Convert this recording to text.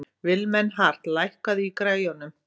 Vilmenhart, hækkaðu í græjunum.